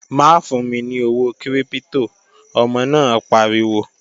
Má fún mi ní owó kírípítò, ọmọ náà pariwo!